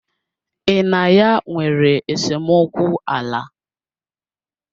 Ị na ya nwere esemokwu ala?